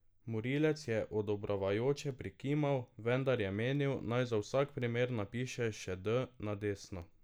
Morilec je odobravajoče prikimal, vendar je menil, naj za vsak primer napiše še D na desno.